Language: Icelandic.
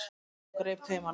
og greip taumana.